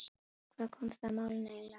Hvað koma það málinu eiginlega við?